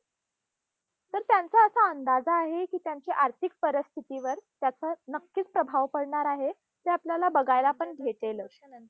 तर त्यांचा असा आहे की त्यांच्या आर्थिक परिस्थितीवर त्याचा नक्कीच प्रभाव पडणार आहे. ते आपल्याला बघायला पण भेटेलच.